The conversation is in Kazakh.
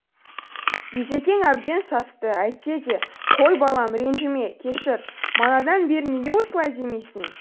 бизекең әбден састы әйтсе де қой балам ренжіме кешір манадан бері неге осылай демейсің